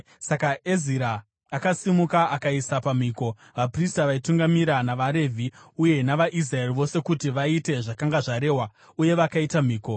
Saka Ezira akasimuka akaisa pamhiko vaprista vaitungamira navaRevhi uye navaIsraeri vose kuti vaite zvakanga zvarehwa. Uye vakaita mhiko.